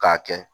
K'a kɛ